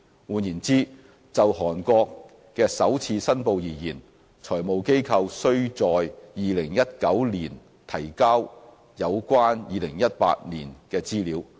換言之，就韓國的首次申報而言，財務機構須在2019年提交有關2018年的資料。